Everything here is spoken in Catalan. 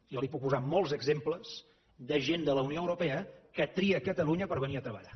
jo li puc posar molts exemples de gent de la unió europea que tria catalunya per venir a treballar